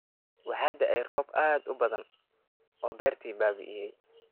Waxaa da’ay roob aad u badan oo beertii baabi’iyay